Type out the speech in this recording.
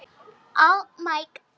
Þú varst mér allt.